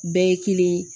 Bɛɛ ye kelen ye